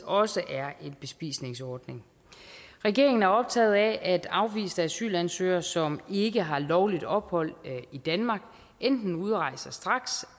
også er en bespisningsordning regeringen er optaget af at afviste asylansøgere som ikke har lovligt ophold i danmark enten udrejser straks